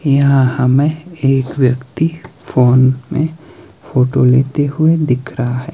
यहां हमें एक व्यक्ति फोन मे फोटो लेते हुए दिख रहा है।